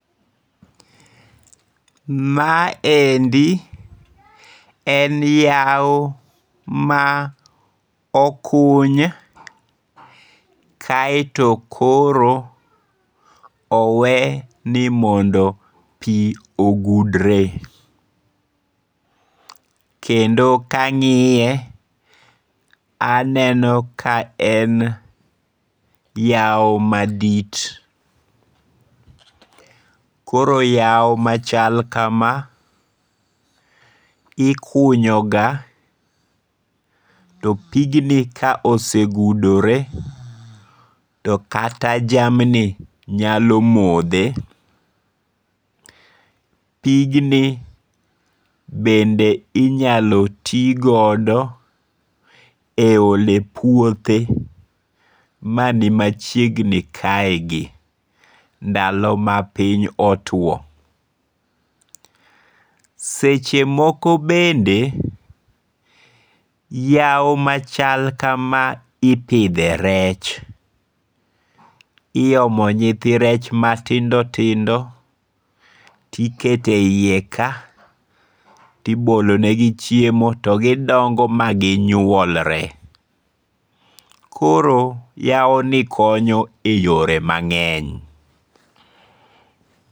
Maendi en yao ma okuny kaeto koro owe ni mondo pi ogudre, kendo kangi'ye aneno ka en yaoo madit, koro yao machal kama ikunyoga to pigni ka osegudore to kata jamni nyalo mothe, pigni bende inyalo ti godo e ole puothe mani machiegni kaegi ndalo ma pinyo otwao, sechemoko bende yao machal kama ipithe rech , iyomo nyithi rech iyomo nyithi rech matindo tindo tikete e yie ka tibolonegi chiemo togidongo' maginyuolre, koroo yawoni konyo e yore mange'ny